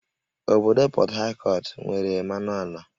Obodo Pọt Hakọt nwere mmanụ ala